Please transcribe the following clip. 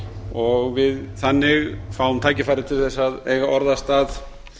og að við fáum þannig tækifæri til að eiga orðastað